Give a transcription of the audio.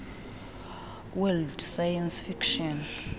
world science fiction